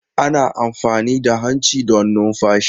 Ana amfani da hanci don numfashi.